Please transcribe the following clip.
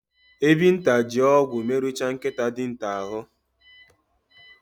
Ebinta ji ogwu meruchaa nkịta dinta ahụ.